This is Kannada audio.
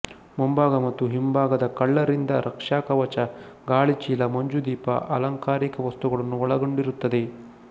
ಮುಂಭಾಗ ಮತ್ತು ಹಿಂಭಾಗದ ಕಳ್ಳರಿಂದ ರಕ್ಷಾಕವಚ ಗಾಳಿಚೀಲ ಮಂಜುದೀಪ ಅಲಂಕಾರಿಕ ವಸ್ತುಗಳನ್ನು ಒಳಗೊಂಡಿರುತ್ತದೆ